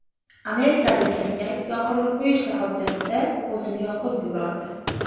Amerikalik erkak yoqilg‘i quyish shoxobchasida o‘zini yoqib yubordi.